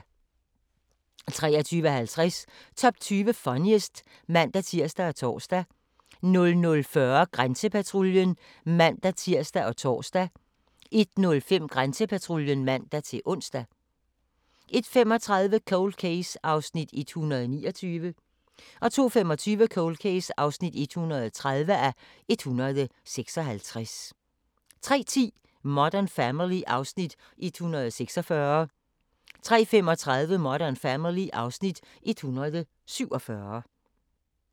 23:50: Top 20 Funniest (man-tir og tor) 00:40: Grænsepatruljen (man-tir og tor) 01:05: Grænsepatruljen (man-ons) 01:35: Cold Case (129:156) 02:25: Cold Case (130:156) 03:10: Modern Family (Afs. 146) 03:35: Modern Family (Afs. 147)